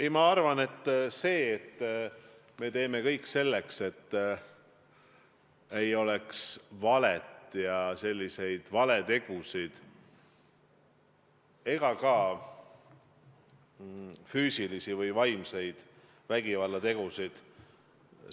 Ei, ma arvan, et me teeme kõik selleks, et ei oleks valet ja valetegusid ega füüsilisi või vaimseid vägivallategusid.